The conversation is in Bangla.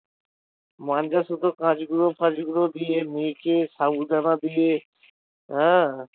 মাঞ্জার সুতো কাঁচ গুঁড়ো ফ্যাঁচ গুঁড়ো দিয়ে মেখে সাবু দানা দিয়ে হ্যাঁ